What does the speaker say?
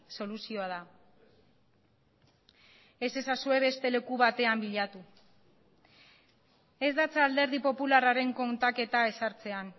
soluzioa da ez ezazue beste leku batean bilatu ez datza alderdi popularraren kontaketa ezartzean